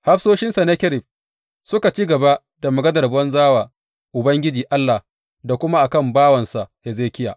Hafsoshin Sennakerib suka ci gaba da maganar banza wa Ubangiji Allah da kuma a kan bawansa Hezekiya.